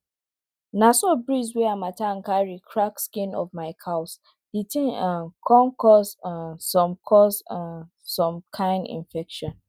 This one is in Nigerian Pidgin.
na so breeze wey harmattan carry crack skin of my cows the thing um con cause um some cause um some kain infection